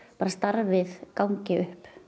starfið gangi upp